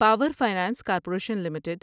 power finance corporation limited